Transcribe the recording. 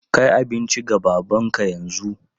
Kai abinci ga babanka yanzu!